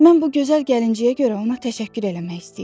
Mən bu gözəl gəlinciyə görə ona təşəkkür eləmək istəyirəm.